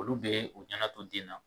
Olu bɛ u ɲɛna to den na.